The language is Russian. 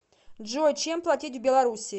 джой чем платить в белоруссии